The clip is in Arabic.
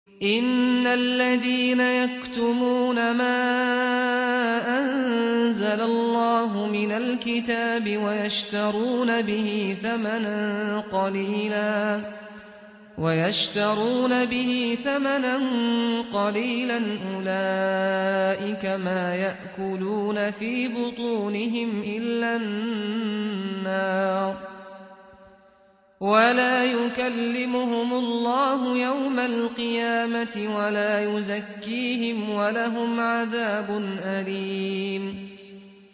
إِنَّ الَّذِينَ يَكْتُمُونَ مَا أَنزَلَ اللَّهُ مِنَ الْكِتَابِ وَيَشْتَرُونَ بِهِ ثَمَنًا قَلِيلًا ۙ أُولَٰئِكَ مَا يَأْكُلُونَ فِي بُطُونِهِمْ إِلَّا النَّارَ وَلَا يُكَلِّمُهُمُ اللَّهُ يَوْمَ الْقِيَامَةِ وَلَا يُزَكِّيهِمْ وَلَهُمْ عَذَابٌ أَلِيمٌ